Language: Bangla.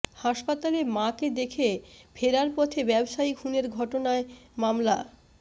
হাসপাতালে মাকে দেখে ফেরার পথে ব্যবসায়ী খুনের ঘটনায় মামলা